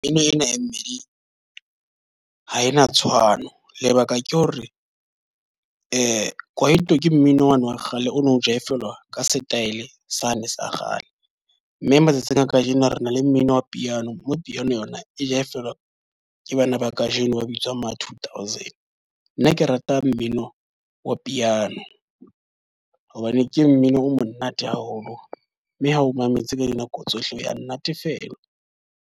Mmino ena e mmeng ha ena tshwano. Lebaka ke hore kwaito ke mmino wane wa kgale o no jive-la ka setaele sane sa kgale. Mme matsatsing a ka jeno re na le mmino wa piano, mo piano yona e jive-la ke bana ba ka jeno ba bitswang ma-two thousand. Nna ke rata mmino wa piano hobane ke mmino o monate haholo mme ha o mametse ka dinako tsohle, ha ya nnatefela.